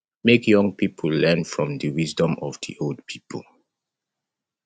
make young pipo learn from the wisdom of di old pipo